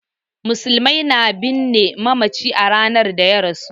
Musulmai na binne mamaci a ranar da ya rasu.